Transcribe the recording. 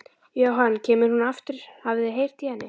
Jóhann: Kemur hún aftur, hafið þið heyrt í henni?